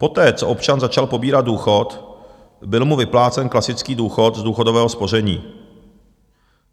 Poté, co občan začal pobírat důchod, byl mu vyplácen klasický důchod z důchodového spoření.